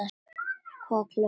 Hvað var klukkan þá?